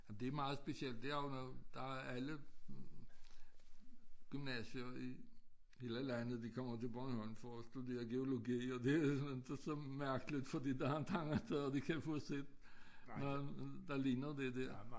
Det meget specielt det er jo noget der er alle gymnasier i hele landet de kommer til Bornholm for at studere geologi og det inte så mærkeligt fordi der en ting eller to de kan få set der ligner det dér